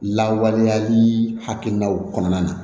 Lawaleyali hakilinaw kɔnɔna na